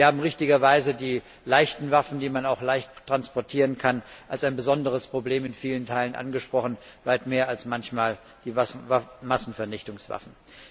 Sie haben richtigerweise die leichten Waffen, die man auch leicht transportieren kann, als ein besonderes Problem in vielen Teilen angesprochen, weit mehr als manchmal Massenvernichtungswaffen.